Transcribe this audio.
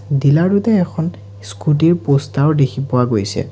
Dealer টোতে এখন scooty ৰ প'ষ্টাৰো দেখি পোৱা গৈছে।